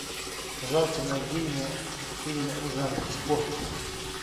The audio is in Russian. пожалуйста найди мне фильм в жанре спорт